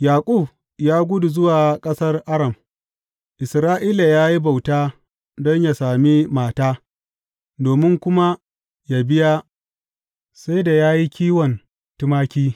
Yaƙub ya gudu zuwa ƙasar Aram; Isra’ila ya yi bauta don yă sami mata, domin kuma yă biya, sai da ya yi kiwon tumaki.